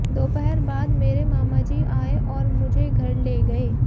दोपहर बाद मेरे मामाजी आये और मुझे घर ले गये